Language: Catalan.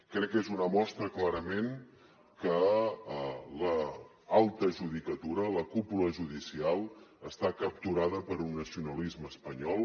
crec que és una mostra clarament que l’alta judicatura la cúpula judicial està capturada per un nacionalisme espanyol